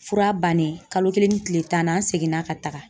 Fura bannen ,kalo kelen ni tile tan ni seginna ka taga